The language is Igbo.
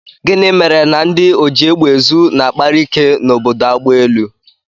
Gịnị mere na ndị ojiegbeezu na-akpakarị ike n'obodo agbaelu